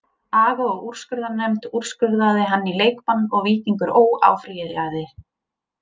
Aga og úrskurðarnefnd úrskurðaði hann í leikbann og Víkingur Ó. áfrýjaði.